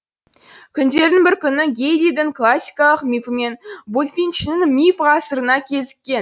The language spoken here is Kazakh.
күндердің бір күні гэйлидің классикалық мифі мен булфинчінің миф ғасырына кезіккен